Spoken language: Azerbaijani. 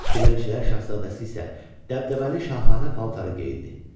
Dilənçilər şahzadəsi isə dəbdəbəli şahanə paltarı geyindi.